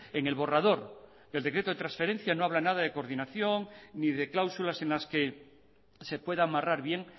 en el borrador del decreto de transferencia no habla nada de coordinación ni de cláusulas en las que se pueda amarrar bien